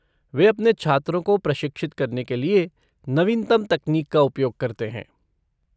वे अपने छात्रों को प्रशिक्षित करने के लिए नवीनतम तकनीक का उपयोग करते हैं।